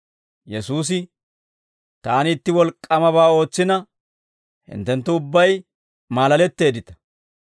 Yesuusi, «Taani itti wolk'k'aamabaa ootsina, hinttenttu ubbay maalaletteeddita.